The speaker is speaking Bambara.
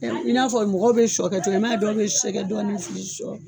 I n'a fɔ mɔgɔw bɛ sɔ kɛ cogo min i man ye dɔw bɛ sɛgɛ dɔɔni fili sɔ